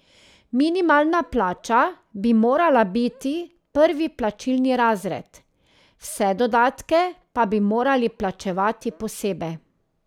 Minimalna plača bi morala biti prvi plačilni razred, vse dodatke pa bi morali plačevati posebej.